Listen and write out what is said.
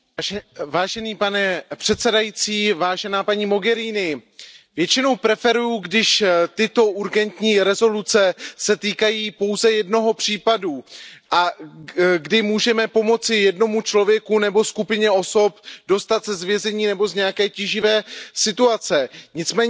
Pane předsedající, paní Mogheriniová, většinou preferuji, když tyto urgentní rezoluce se týkají pouze jednoho případu a kdy můžeme pomoci jednomu člověku nebo skupině osob dostat se z vězení nebo z nějaké tíživé situace. Nicméně situace